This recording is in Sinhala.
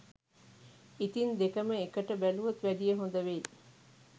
ඉතින් දෙකම එකට බැලුවොත් වැඩිය හොද වෙයි